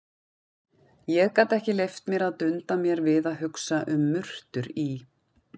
Ég gat ekki leyft mér að dunda mér við að hugsa um murtur í